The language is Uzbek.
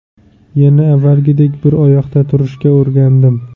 Yana avvalgidek bir oyoqda turishga o‘rgandim.